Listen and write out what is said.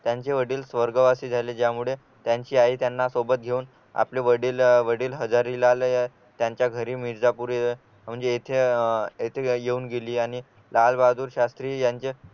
त्यांचे वडील स्वर्गवासी झाले ज्यामुळे त्यांची आई त्यांना सोबत घेऊन आपले वडील वडील हजारे ला आणि त्यांच्या घरी मिर्जापुर म्हणजे येथे अह येथे येऊन गेली आणि लालबहादूर शास्त्री यांचे